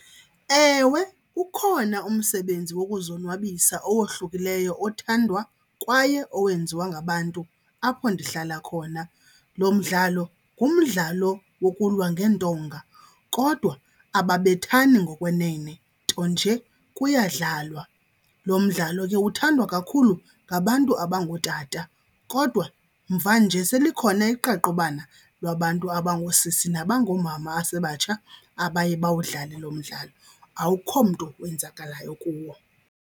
Ewe, ukhona umsebenzi wokuzonwabisa owohlukileyo othandwa kwaye owenziwa ngabantu apho ndihlala khona. Lo mdlalo ngumdlalo wokulwa ngeentonga kodwa ababethani ngokwenene, nto nje kuyadlalwa. Lo mdlalo ke uthandwa kakhulu ngabantu abangootata kodwa mvanje selikhona iqaqobana lwabantu abangoosisi nabangoomama abasebatsha abaye bawudlale lo mdlalo. Akho mntu wenzakalayo kuwo.